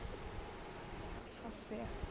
ਅੱਛਾ